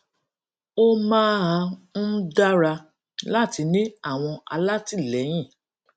ó máa ń dára láti ní àwọn alátìlẹyìn